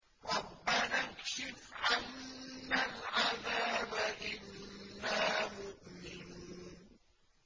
رَّبَّنَا اكْشِفْ عَنَّا الْعَذَابَ إِنَّا مُؤْمِنُونَ